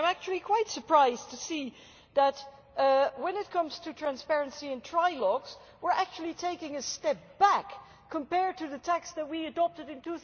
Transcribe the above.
I am actually quite surprised to see that, when it comes to transparency in trialogues, we are actually taking a step back compared to the text that we adopted in